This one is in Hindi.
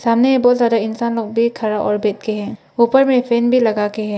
सामने में बहुत सारे इंसान लोग खड़े और बैठ के हैं ऊपर में एक फैन भी लगाके है।